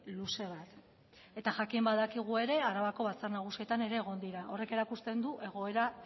luze bat eta jakin badakigu ere arabako batzar nagusietan ere egon dira horrek erakusten du egoera